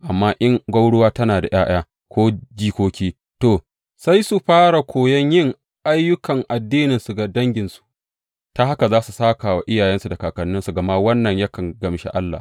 Amma in gwauruwa tana da ’ya’ya ko jikoki, to, sai su fara koyon yin ayyukan addininsu ga danginsu, ta haka za su sāka wa iyayensu da kakanninsu, gama wannan yakan gamshi Allah.